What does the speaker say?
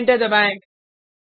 और एंटर दबाएँ